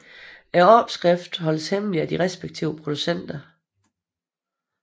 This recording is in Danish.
Opskriften holdes hemmelig af de respektive producenter